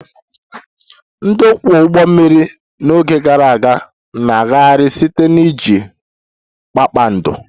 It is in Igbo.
Ndị ọkwọ ụgbọ mmiri n'oge gara aga na-agagharị site na iji kpakpando